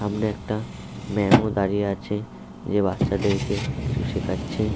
সামনে একটা ম্যাম ও দাঁড়িয়ে আছে যে বাচ্চাদেরকে কিছু শেখাচ্ছে।